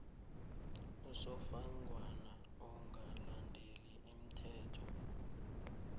usofengwana ongalandeli imithetho